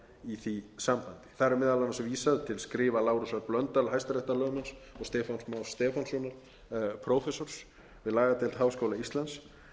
í því sambandi þar er meðal annars vísað til skrifa lárusar blöndal hæstaréttarlögmanns og stefáns más stefánssonar prófessors við lagadeild háskóla íslands